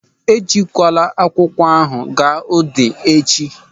E jikwala akwụkwọ ahụ aga Udi echi.